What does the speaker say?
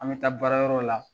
An bɛ taa baarayɔrɔ la